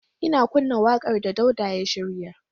Ina kunna wakar da Dauda ya shirya.